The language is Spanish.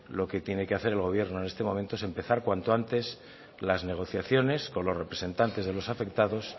lo que tiene que hacer el gobierno en este momento es empezar cuanto antes las negociaciones con los representantes de los afectados